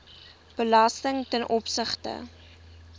belasting ten opsigte